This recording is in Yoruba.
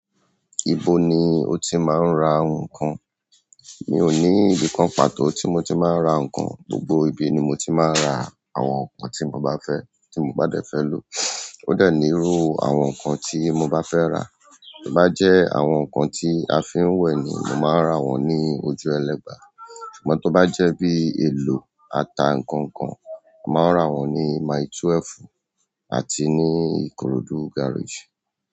Ibo ni o ti máa ń ra nǹkan? Mi ò ní ibìkan pàtó tí mo ti máa ń ra nǹkan, gbogbo ibi ni mo ti máa ń ra àwọn nǹkan tí mo bá fẹ́, tí mo bá dẹ̀ fẹ́ lò. Ó de ní irú àwọn nǹkan tí mo bá fẹ́ rà. To ba je àwọn nkan ti a fin we ni, mo maa n ra won ni ojuelegba. Ṣùgbọ́n tó bá jẹ́ bí èlò ata nǹkan kan, a máa rà wọ́n ní mile twelve àti ní Ìkòròdú garage.